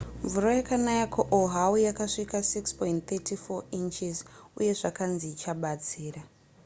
mvura yakanaya kuoahu yakasvika 6.34 inches uye zvakanzi ichabatsira